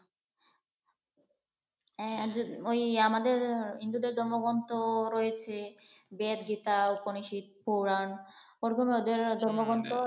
হ্যাঁ ঐ আমাদের হিন্দুদের ধর্মগ্রন্থ রয়েছে বেদ, গীতা, উপনিষদ, পুরান